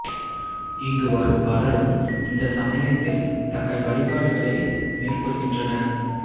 இங்கு வரும் பலரும் இந்த சமயத்தில் தங்கள் வழிபாடுகளை மேற்கொள்கின்றனர்